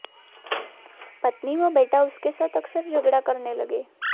पत्नी व बेटा उसके साथ अकसर झगड़ा करने लगे